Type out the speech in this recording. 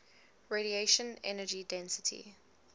radiation energy density